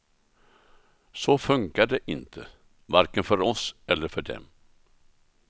Så funkar det inte, varken för oss eller för dem.